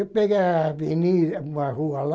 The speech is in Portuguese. Eu peguei a avenida, uma rua lá.